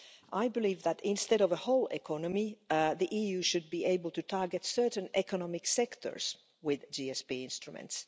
I believe that instead of a whole economy, the EU should be able to target certain economic sectors with GSP instruments.